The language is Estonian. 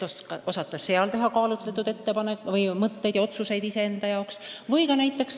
Tuleb ju teha kaalutletud otsuseid iseenda tuleviku kohta.